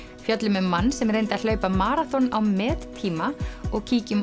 fjöllum um mann sem reyndi að hlaupa maraþon á mettíma og